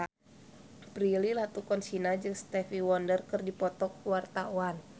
Prilly Latuconsina jeung Stevie Wonder keur dipoto ku wartawan